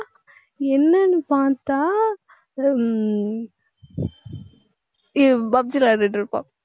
என்னன்னு பாத்தா ஹம் இ~ PUB G விளையாடிட்டு இருப்பான்